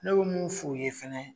Ne bɛ mun f' u ye fɛnɛ.